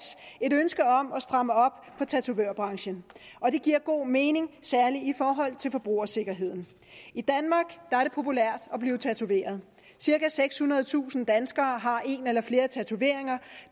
et ønske om at stramme op for tatovørbranchen og det giver god mening særlig i forhold til forbrugersikkerheden i danmark er det populært at blive tatoveret cirka sekshundredetusind danskere har en eller flere tatoveringer